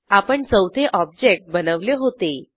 आपण चौथे ऑब्जेक्ट बनवले होते